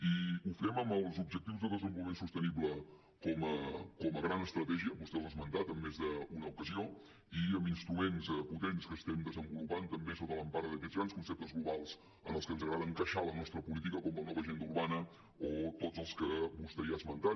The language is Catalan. i ho fem amb els objectius de desenvolupament sostenible com a gran estratègia vostè els ha esmentat en més d’una ocasió i amb instruments potents que estem desenvolupant també sota l’empara d’aquests grans conceptes globals en el que ens agrada encaixar la nostra política com la nova agenda urbana o tots els que vostè ja ha esmentat